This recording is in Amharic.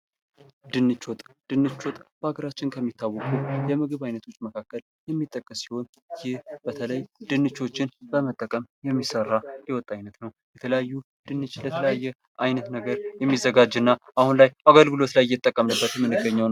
ድንች ወጥ ድንች ወጥ በሀገራችን ከሚታወቁ የምግብ አይነቶች የሚጠቀስ ሲሆን ይህ በተለይ ድንቾችን በመጠቀም የሚሰራ የወጥ አይነት ነው። የተለያዩ ድንችን ለተለያየ አይነት ነገር ነገር የሚዘጋጅና አሁን ላይ አገልግሎት ላይ እየተጠቀምንበት የምንገኘው ነው።